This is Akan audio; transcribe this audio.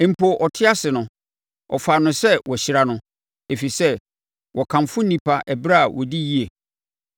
Mpo ɔte ase no, ɔfaa no sɛ wɔahyira no, ɛfiri sɛ wɔkamfo nnipa ɛberɛ a wɔdi yie,